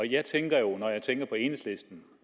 jeg tænker jo når jeg tænker på enhedslisten